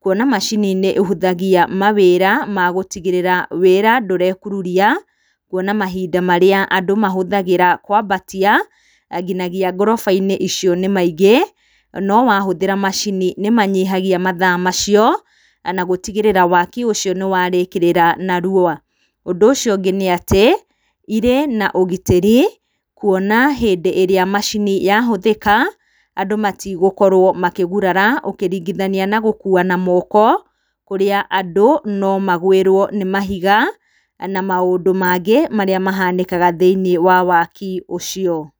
kuona macini nĩĩhũthagia mawĩra na gũtigĩrĩra wĩra ndũrekururia, kuona mahinda marĩa andũ mahũthagĩra kwambatia nginya ngoroba-inĩ icio nĩ maingĩ no wahũthĩra macini nĩmahũthagia mathaa macio na gũtigĩrĩra waki ũcio nĩwarĩkĩrĩra narua. Ũndũ ũcio ũngĩ nĩ atĩ irĩ na ũgitĩri, kuona hĩndĩ ĩrĩa macini yahũthĩka andũ matigũkorwo makĩgurara ũkĩringithania na gũkua na moko kũrĩa andũ no magwĩrwo nĩ mahiga na maũndũ mangĩ marĩa mahanĩkaga thĩiniĩ wa waki ũcio.